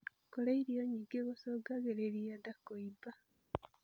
Kurĩa irio nyingĩ gucungagirirĩa ndaa kuimba